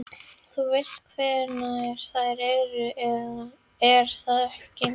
Þú veist hverjar þær eru, er það ekki?